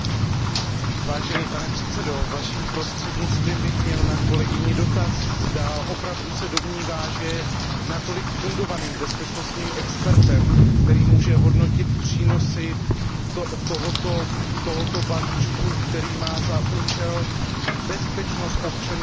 Pane předsedající, Vaším prostřednictvím bych měl na kolegyni dotaz, zda opravdu se domnívá, že je natolik fundovaným bezpečnostním expertem, který může hodnotit přínosy tohoto balíčku, který má za účel bezpečnost občanů EU.